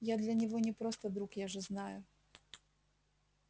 я для него не просто друг я же знаю